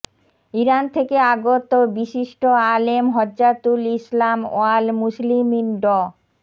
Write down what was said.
Iran থেকে আগত বিশিষ্ট আলেম হুজ্জাতুল ইসলাম ওয়াল মুসলিমীন ড